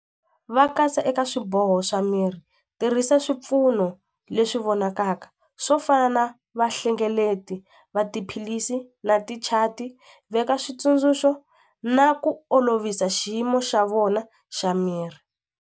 Va katsa eka swiboho swa miri tirhisa swipfuno leswi vonakaka swo fana vahlengeleti va tiphilisi na ti-chat veka switsundzuxo na ku olovisa xiyimo xa vona xa miri.